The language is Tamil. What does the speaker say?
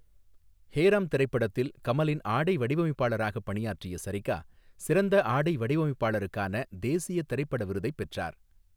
ஹே ராம்' திரைப்படத்தில் கமலின் ஆடை வடிவமைப்பாளராக பணியாற்றிய சரிகா, சிறந்த ஆடை வடிவமைப்பாளருக்கான தேசிய திரைப்பட விருதைப் பெற்றார்.